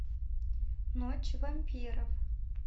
ночь вампиров